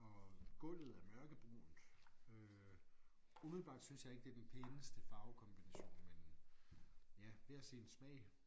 Og gulvet er mørkebrunt øh umiddelbart synes jeg ikke det den pæneste farvekombination men ja hver sin smag